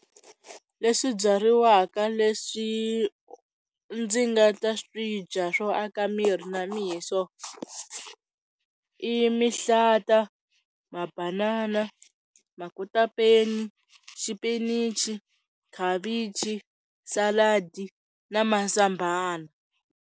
Leswi byariwaka leswi ndzi nga ta swidya swo aka miri na miso i mihlata, mabanana, makotapeni, xipinichi, khavichi, saladi na mazambhana.